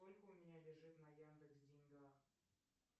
сколько у меня лежит на яндекс деньгах